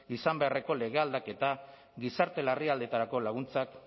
izan beharreko lege aldaketa gizarte larrialdietarako laguntzak